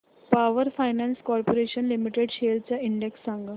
power finance corporation limited shares चा index सांगा